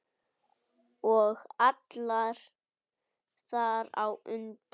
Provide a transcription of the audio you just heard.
Og alla þar á undan.